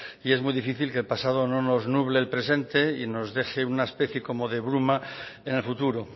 y es muy difícil que el pasado no nos nuble el presente y nos deje una especie como de bruma en el futuro